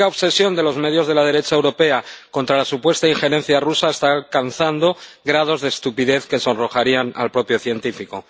patética obsesión de los medios de la derecha europea contra la supuesta injerencia rusa está alcanzando grados de estupidez que sonrojarían al propio científico.